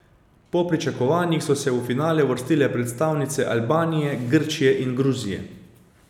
Po pričakovanjih so se v finale uvrstile predstavnice Albanije, Grčije in Gruzije.